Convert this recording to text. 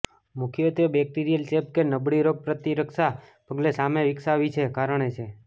મુખ્યત્વે બેક્ટેરીયલ ચેપ કે નબળી રોગપ્રતિરક્ષા પગલે સામે વિકસાવી છે કારણે છે